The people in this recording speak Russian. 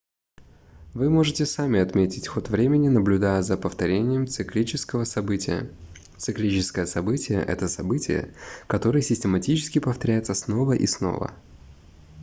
вы можете сами отметить ход времени наблюдая за повторением циклического события циклическое событие это событие которое систематически повторяется снова и снова